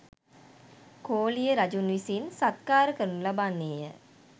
කෝලිය රජුන් විසින් සත්කාර කරනු ලබන්නේ ය.